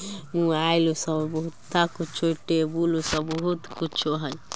Mobile shop बहुता कुछु table सब बहुते कुछु हइ ।